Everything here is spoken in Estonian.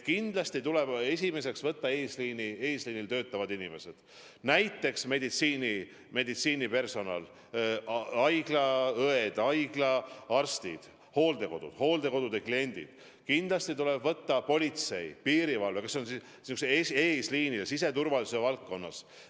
Kindlasti tuleb esimesena vaktsineerida eesliinil töötavad inimesed, näiteks meditsiinipersonal – haiglaõed, haiglaarstid –, hooldekodude personal ja kliendid, kindlasti politsei ja piirivalve kui eesliin siseturvalisuse valdkonnas.